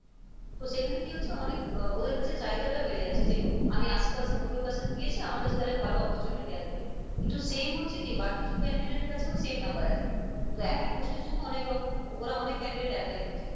তো সেখানে কী হচ্ছে অনেক আহ ওদের কাছে চাহিদাটা বেড়ে যাচ্ছে যে আমি আশি percent নব্বই percent পেয়েছি আমার কাছে তালে ভালো opportunity আসবে কিন্তু same হচ্ছে কী বাকি সব candidate এর কাছেও same number আছে তো একই post এর জন্য অনেকরকম ওরা অনেক candidate apply করছে,